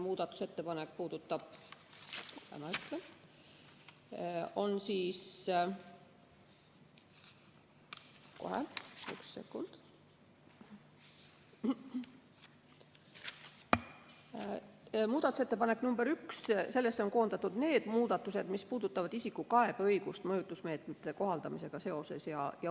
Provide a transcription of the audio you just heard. Muudatusettepanekusse nr 1 on koondatud need muudatused, mis puudutavad isiku kaebeõigust mõjutusmeetmete kohaldamisega seoses.